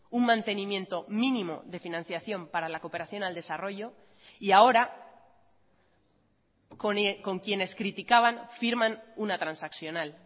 un mantenimiento mínimo de financiación para la cooperación al desarrollo y ahora con quienes criticaban firman una transaccional